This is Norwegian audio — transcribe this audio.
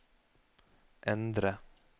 endre